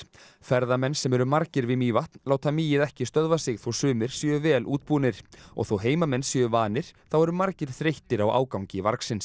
ferðamenn sem eru margir við Mývatn láta mýið ekki stöðva sig þó að sumir séu vel útbúnir og þó að heimamenn séu vanir þá eru margir þreyttir á ágangi